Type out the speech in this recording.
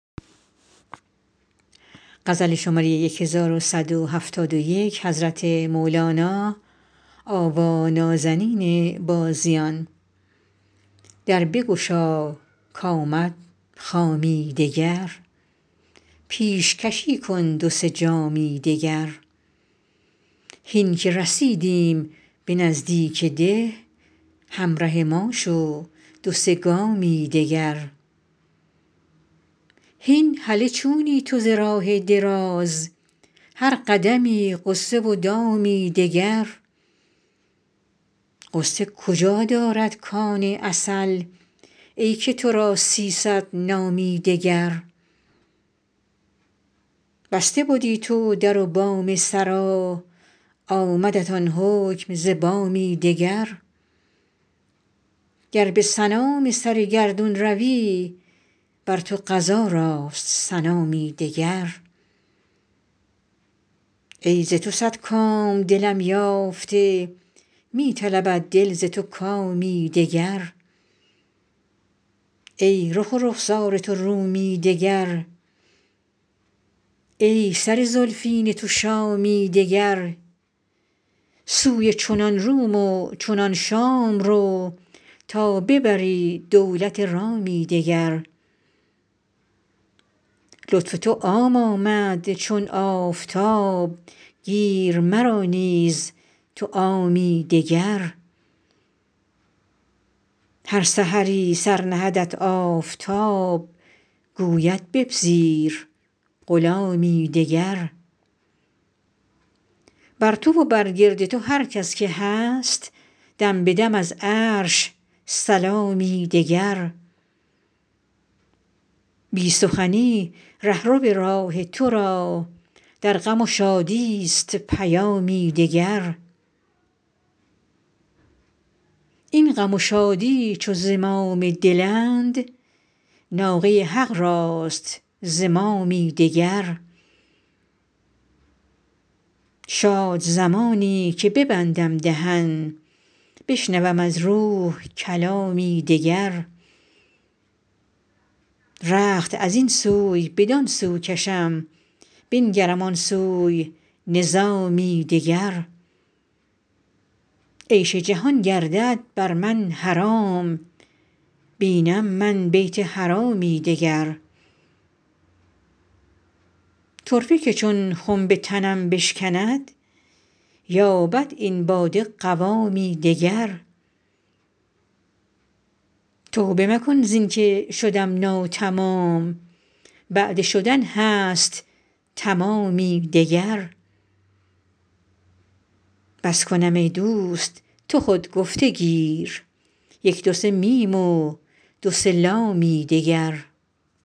در بگشا کآمد خامی دگر پیشکشی کن دو سه جامی دگر هین که رسیدیم به نزدیک ده همره ما شو دو سه گامی دگر هین هله چونی تو ز راه دراز هر قدمی غصه و دامی دگر غصه کجا دارد کان عسل ای که تو را سیصد نامی دگر بسته بدی تو در و بام سرا آمدت آن حکم ز بامی دگر گر به سنام سر گردون روی بر تو قضا راست سنامی دگر ای ز تو صد کام دلم یافته می طلبد دل ز تو کامی دگر ای رخ و رخسار تو رومی دگر ای سر زلفین تو شامی دگر سوی چنان روم و چنان شام رو تا ببری دولت رامی دگر لطف تو عام آمد چون آفتاب گیر مرا نیز تو عامی دگر هر سحری سر نهدت آفتاب گوید بپذیر غلامی دگر بر تو و برگرد تو هر کس که هست دم به دم از عرش سلامی دگر بی سخنی ره رو راه تو را در غم و شادیست پیامی دگر این غم و شادی چو زمام دلند ناقه حق راست زمامی دگر شاد زمانی که ببندم دهن بشنوم از روح کلامی دگر رخت از این سوی بدان سو کشم بنگرم آن سوی نظامی دگر عیش جهان گردد بر من حرام بینم من بیت حرامی دگر طرفه که چون خنب تنم بشکند یابد این باده قوامی دگر توبه مکن زین که شدم ناتمام بعد شدن هست تمامی دگر بس کنم ای دوست تو خود گفته گیر یک دو سه میم و دو سه لامی دگر